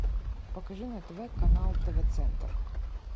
покажи на тв канал тв центр